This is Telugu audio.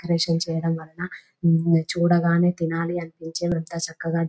డెకరేషన్ చేయడం వలన చూడగానే తెనాలి అనిపించే ఎంతో చక్కగా --